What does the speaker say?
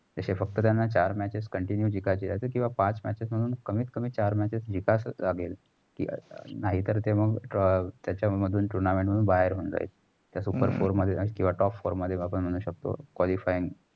जसें त्याना पक्त चार matches continue जिकायचं किंवा पाच matches म्हणून कमीत कमी चार matches जिकचं लागेल. नाहीतर ते मग त्याचा मधुन tounament मधुन बाहेर हुन जाईल. जर super four किंवा top four मधलं qualifying